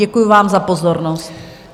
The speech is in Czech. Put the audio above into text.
Děkuji vám za pozornost.